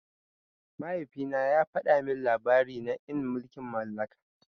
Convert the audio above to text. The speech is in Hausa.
Mahaifina ya fada min labari na en mulkin mallaka.